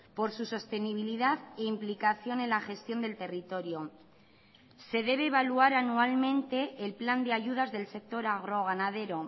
por su sostenibilidad e implicación en la gestión del territorio se debe evaluar anualmente el plan de ayudas del sector agroganadero